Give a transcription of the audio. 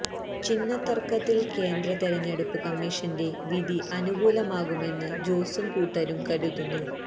ചിഹ്ന തര്ക്കത്തില് കേന്ദ്ര തെരഞ്ഞെടുപ്പ് കമ്മീഷന്റെ വിധി അനുകൂലമാകുമെന്ന് ജോസും കൂട്ടരും കരുതുന്നു